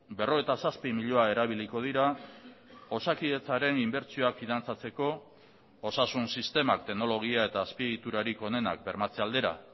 berrogeita zazpi milioi erabiliko dira osakidetzaren inbertsioak finantzatzeko osasun sistemak teknologia eta azpiegiturarik onenak bermatze aldera